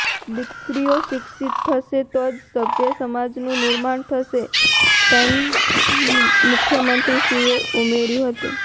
દીકરીઓ શિક્ષિત થશે તો જ સભ્ય સમાજનું નિર્માણ થશે તેમ મુખ્યમંત્રીશ્રીએ ઉમેર્યું હતું